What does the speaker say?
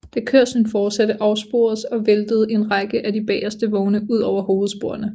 Da kørslen fortsatte afsporedes og væltede en række af de bageste vogne ud over hovedsporene